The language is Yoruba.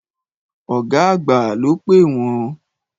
Ọ̀gá àgbà ló pè wọ́n.